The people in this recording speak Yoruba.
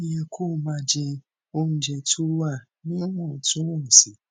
ó yẹ kó o máa jẹ oúnjẹ tó wà níwòntúnwònsì